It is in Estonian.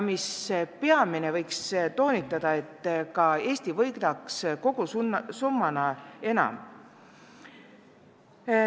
Mis peamine: tuleb toonitada, et terve Eesti võidaks kogusummana enam.